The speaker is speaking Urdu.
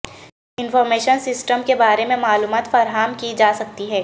انفارمیشن سسٹم کے بارے میں معلومات فراہم کی جا سکتی ہیں